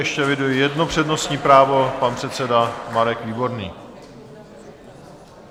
Ještě eviduji jedno přednostní právo, pan předseda Marek Výborný.